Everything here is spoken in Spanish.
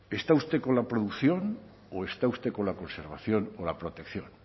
está usted con la producción o está usted con la conservación o la protección